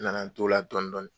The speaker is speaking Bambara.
N nana n to la dɔɔnin dɔɔnin